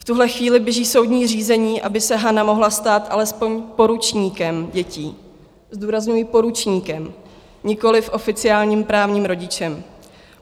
V tuhle chvíli běží soudní řízení, aby se Hana mohla stát alespoň poručníkem dětí, zdůrazňuji, poručníkem, nikoliv oficiálním právním rodičem.